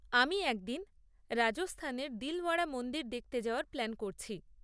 আমি একদিন রাজস্থানের দিলওয়াড়া মন্দির দেখতে যাওয়ার প্ল্যান করছি।